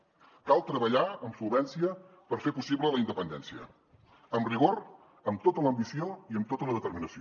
cal treballar amb solvència per fer possible la independència amb rigor amb tota l’ambició i amb tota la determinació